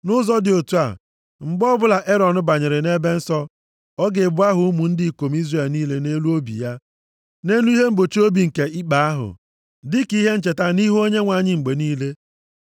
“Nʼụzọ dị otu a, mgbe ọbụla Erọn banyere nʼEbe Nsọ, ọ ga-ebu aha ụmụ ndị ikom Izrel niile nʼelu obi ya, nʼelu ihe mgbochi obi nke ikpe ahụ, dịka ihe ncheta nʼihu Onyenwe anyị mgbe niile.